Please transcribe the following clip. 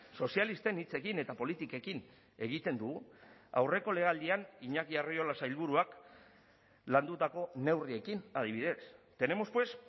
sozialisten hitzekin eta politikekin egiten dugu aurreko legealdian iñaki arriola sailburuak landutako neurriekin adibidez tenemos pues